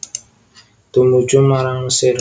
Tumuju marang Mesir